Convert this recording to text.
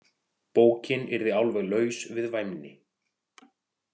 Bókin yrði alveg laus við væmni.